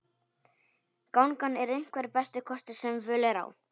Gangan er einhver besti kostur sem völ er á.